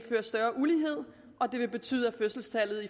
større ulighed og at det vil betyde at fødselstallet